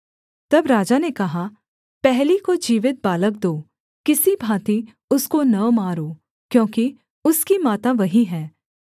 तब राजा ने कहा पहली को जीवित बालक दो किसी भाँति उसको न मारो क्योंकि उसकी माता वही है